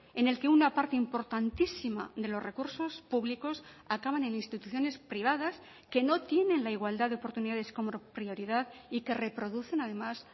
en el que una parte importantísima de los recursos públicos acaban en instituciones privadas que no tienen la igualdad de oportunidades como prioridad y que reproducen además